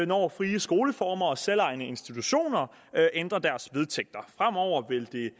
når frie skoleformer og selvejende institutioner ændrer deres vedtægter fremover vil det